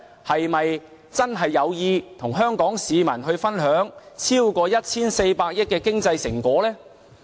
是否真的有意與香港市民分享超過 1,400 億元的經濟成果呢？